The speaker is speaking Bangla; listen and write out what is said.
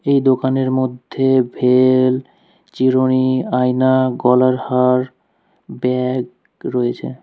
এই দোকানের মধ্যে ভেল চিরুনি আয়না গলার হার ব্যাগ রয়েছে।